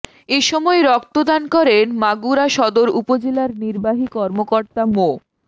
এ সময় রক্তদান করেন মাগুরা সদর উপজেলার নির্বাহী কর্মকর্তা মো